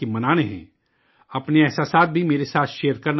اپنے تجربات بھی میرے ساتھ شیئر کرنا نہ بھولئے گا